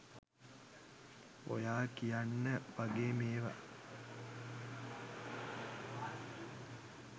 ඔයා කියන්න වගේ මේවා